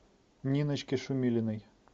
ниночке шумилиной